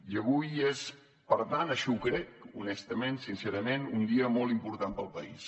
i avui és per tant així ho crec honestament sincerament un dia molt important per al país